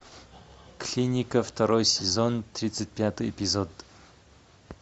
клиника второй сезон тридцать пятый эпизод